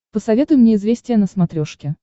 посоветуй мне известия на смотрешке